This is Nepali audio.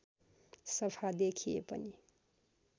सफा देखिए पनि